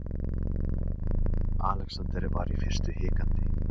Alexander var í fyrstu hikandi.